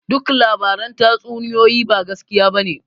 Duk labaran tatsuniyoyi ba gaskiya bane